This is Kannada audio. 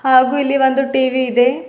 ಹಾಗು ಇಲ್ಲಿ ಒಂದು ಟಿ_ವಿ ಇದೆ.